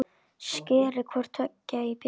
Skerið hvort tveggja í bita.